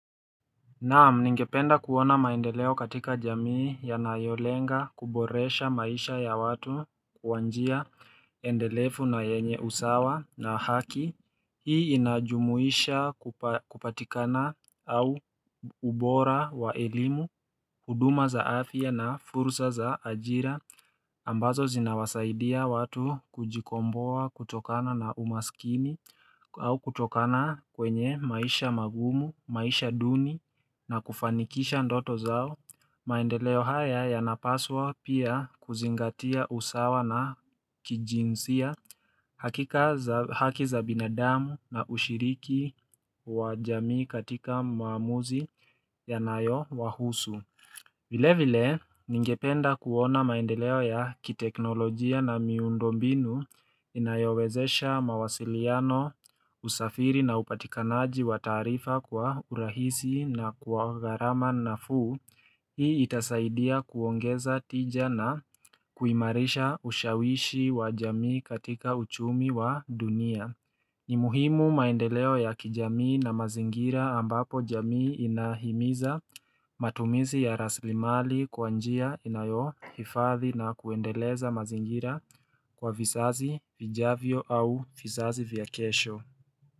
Naam ningependa kuona maendeleo katika jamii yanayolenga kuboresha maisha ya watu kwa njia endelefu na yenye usawa na haki Hii inajumuisha kupatikana au ubora wa elimu, huduma za afya na fursa za ajira ambazo zinawasaidia watu kujikomboa kutokana na umaskini au kutokana kwenye maisha magumu, maisha duni na kufanikisha ndoto zao maendeleo haya yanapaswa pia kuzingatia usawa na kijinsia hakika za haki za binadamu na ushiriki wa jamii katika maamuzi yanayo wahusu vile vile, ningependa kuona maendeleo ya kiteknolojia na miundo mbinu inayowezesha mawasiliano, usafiri na upatikanaji wa taarifa kwa urahisi na kwa gharama nafuu. Hii itasaidia kuongeza tija na kuimarisha ushawishi wa jamii katika uchumi wa dunia. Ni muhimu maendeleo ya kijamii na mazingira ambapo jamii inahimiza matumizi ya rasilimali kwa njia inayohifadhi na kuendeleza mazingira kwa vizazi vijavyo au vizazi vya kesho.